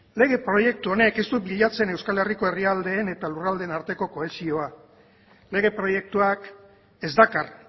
lege proiektu honek ez du bilatzen euskal herriko herrialdeen eta lurraldeen arteko kohesioa lege proiektuak ez dakar